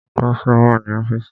Bọ́sà wà ní ọ́fìsì.